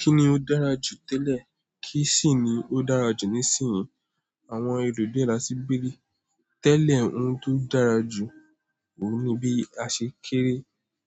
Kíni ó dára jù tẹ́lẹ̀, kì í sì ni ó dára jù nísinsìnyí? Àwọn erù dé láti béèrè. Tẹ́lẹ̀, oun tó dára jù òun ni bí a ṣe kéré,